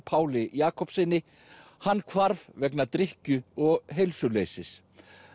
Páli Jakobssyni hann hvarf vegna drykkju og heilsuleysis